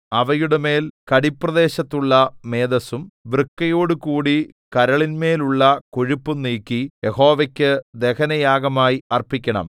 അവയുടെമേൽ കടിപ്രദേശത്തുള്ള മേദസ്സും വൃക്കയോടുകൂടി കരളിന്മേലുള്ള കൊഴുപ്പും നീക്കി യഹോവയ്ക്കു ദഹനയാഗമായി അർപ്പിക്കണം